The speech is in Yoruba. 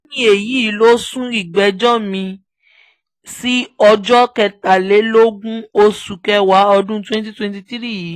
lẹ́yìn èyí ló sún ìgbẹ́jọ́ mi-ín sí ọjọ́ kẹtàlélógún oṣù kẹwàá ọdún twenty twenty three yìí